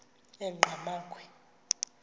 enqgamakhwe